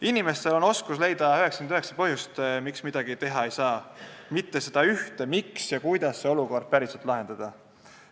Inimestel on oskus leida 99 põhjust, miks midagi teha ei saa, aga nad ei leia seda ühte võimalust, miks ja kuidas olukorda lahendada.